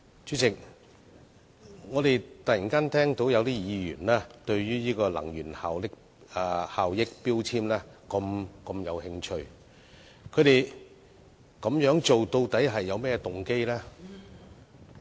主席，我們突然聽到有議員對能源標籤如此有興趣，究竟有何動機呢？